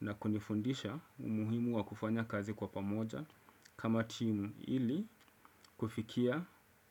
na kunifundisha umuhimu wa kufanya kazi kwa pamoja kama timu ili kufikia